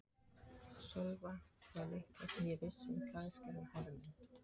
Sölva það litla sem ég vissi um klæðskerann Hermund